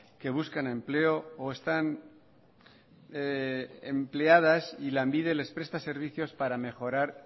que buscan empleo o están empleadas y lanbide les presta servicios para mejorar